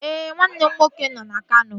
Ee, nwanne m nwoke nọ na Kano